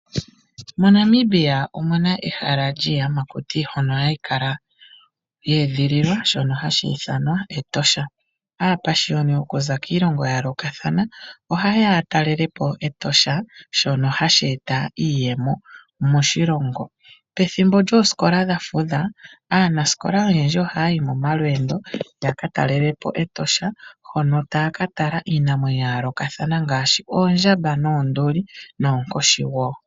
MoNamibia omuna ehala lyiiyamakuti mbyono hayi kala ye edhililwa, shono hashi ithanwa Etosha. Aapashiyoni okuza kiilongo ya yoolokathana ohaye ya ya talele po Etosha, shono hashi e ta iiyemo moshilongo. Pethimbo lyoosikola dhafudha, aanasikola oyendji ohaya yi momalweendo yaka talele po Etosha hono taya ka tala iinamwenyo ya yoolokathana ngaashi oondjamba noonduli noonkoshi wo.